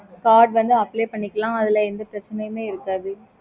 okay mam